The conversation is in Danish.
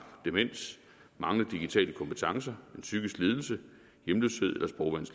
demens manglende digitale kompetencer en psykisk lidelse hjemløshed